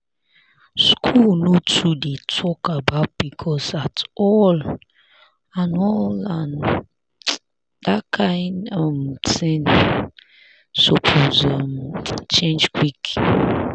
school no too dey talk about pcos at all and all and that kain um thing suppose um change quick.